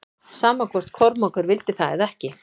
Sama hvort Kormákur vildi það eða ekki.